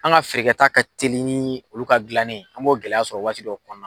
An ka feere kɛ ta ka teli ni olu ka dilannen an b'o gɛlɛya sɔrɔ waati dow kɔnɔ.